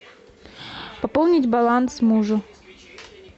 пополнить баланс мужу